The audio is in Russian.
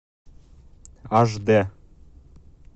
аш д